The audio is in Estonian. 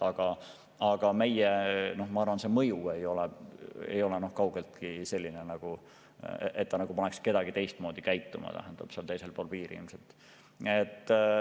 Samas ma arvan, et see meie mõju ei ole kaugeltki selline, et see paneks kedagi seal teisel pool piiri teistmoodi käituma.